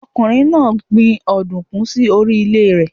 Ọkùnrin náà gbin Òdùkú sí orí ilè rẹ̀